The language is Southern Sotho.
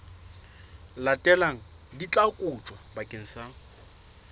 latelang di tla kotjwa bakeng